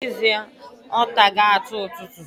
Na ezie, otago atu ututu.